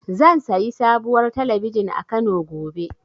Zan sayi sabuwar talabijin a Kano, gobe.